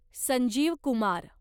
Sanjeev Kumar